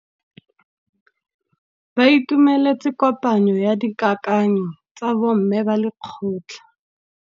Ba itumeletse kôpanyo ya dikakanyô tsa bo mme ba lekgotla.